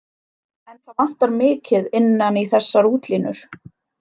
En það vantar mikið innan í þessar útlínur.